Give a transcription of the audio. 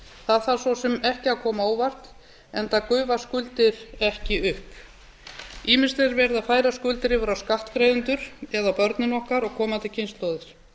það þarf svo sem ekki að koma á óvart enda gufa skuldir ekki upp ýmist er verið að færa skuldir yfir á skattgreiðendur eða á börnin okkar og komandi kynslóðir